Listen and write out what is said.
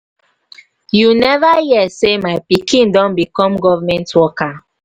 you never hear say my pikin don become government worker